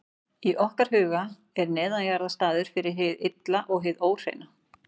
Í okkar huga er neðanjarðar staður fyrir hið illa og hið óhreina.